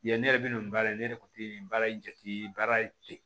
Yan ne yɛrɛ bɛ na nin baara in ne yɛrɛ kun tɛ nin baara in jate baara tɛ